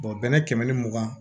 bɛnɛ kɛmɛ ni mugan